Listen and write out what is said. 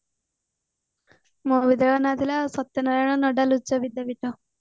ମୋ ବିଦ୍ୟାଳୟ ର ନାଁ ଥିଲା ସତ୍ୟ ନାରାୟଣ ନୋଡାଲ ଉଚ୍ଚ ବିଦ୍ୟାପୀଠ